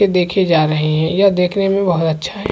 ये देखे जा रहे है यह देखने में बहोत अच्छा है।